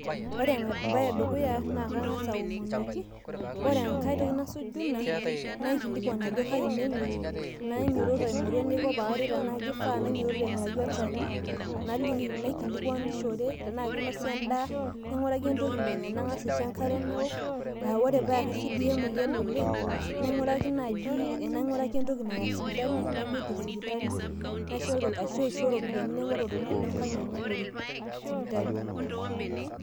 ore ene dukuya naa kang'as aomonoki , nakilikuan ajo kaji nemoi , nanyuototo ang'oru eniko pee aret tenaa kifaa naing'uraki olchani, nakilikuanishore tenaa kinosa edaa nang'uraki entoki nanya naisho enkare nawuok ore paa kisidiyie emoyian oleng' nang'uraki oltung'ani lengang' enye oya sipitali.